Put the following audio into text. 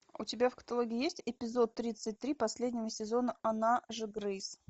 у тебя в каталоге есть эпизод тридцать три последнего сезона она же грейс